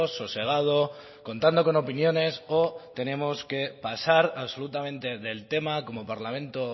sosegado contando con opiniones o tenemos que pasar absolutamente del tema como parlamento